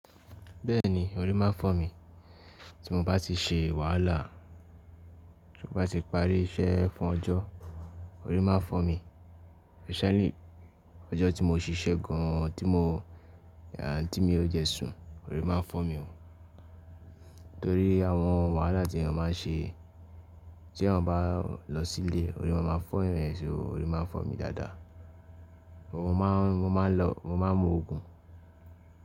Bẹ́ẹ̀ni orí máa ń fọ́ mi, tí mo bá ti ṣe wàhálà, tí mo bá ti parí iṣẹ́ fún ọjọ́ orí máa ń fọ́ mi, especially ọjọ́ tí mo ṣiṣẹ́ gan an tí mo à n tí mi ò jẹ sùn orí máa ń fọ́ mi ó Nítorí àwọn wàhálà tí ènìyàn máa ń ṣe tí ènìyàn bá lọ sílé orí máa ma fọ́ èyàn so orí máa ń fọ́ mi dáadáa. Mo máa ń, mo máa ń lọ, mo máa ń mu òògùn.